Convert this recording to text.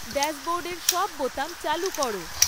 ড্যাশবোর্ডের সব বোতাম চালু করো